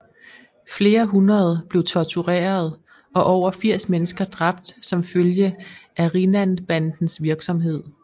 Flere hundrede blev tortureret og over 80 mennesker dræbt som følge af Rinnanbandens virksomhed